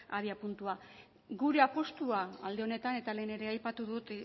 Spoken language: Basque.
abiapuntua gure apustua alde honetan eta lehen ere aipatu dut